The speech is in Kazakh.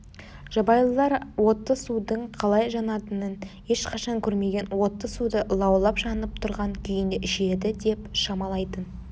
жабайылар отты судың қалай жанатынын ешқашан көрмеген отты суды лаулап жанып тұрған күйінде ішеді деп шамалайтын